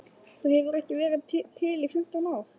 Það hefur ekki verið til í fimmtán ár!